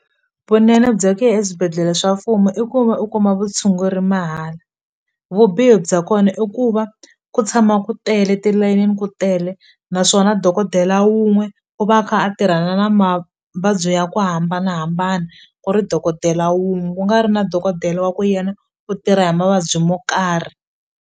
Vunene bya ku ya eswibedhlele swa mfumo i ku va u kuma vutshunguri mahala vubihi bya kona i ku va ku tshama ku tele tilayinini ku tele naswona dokodela wun'we u va a kha a tirhana na mavabyi ya ku hambanahambana ku ri dokodela wun'we ku nga ri na dokodela wa ku yena u tirha hi mavabyi mo karhi.